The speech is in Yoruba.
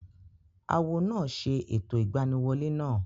Awo náà ṣe ẹ̀tọ́ ìgbaniwolẹ́ náà